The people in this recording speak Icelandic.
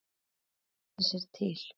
Menn lesa sér til.